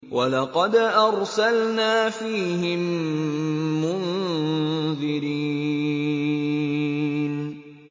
وَلَقَدْ أَرْسَلْنَا فِيهِم مُّنذِرِينَ